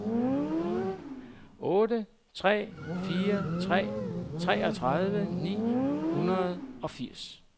otte tre fire tre treogtredive ni hundrede og firs